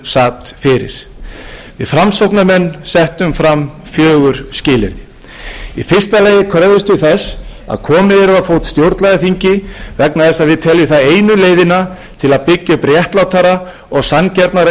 sat fyrir við framsóknarmenn settum fram fjögur skilyrði í fyrsta lagi kröfðumst við þess að komið yrði á fót stjórnlagaþingi vegna þess að við teljum það einu leiðina til að byggja upp réttlátara og sanngjarnara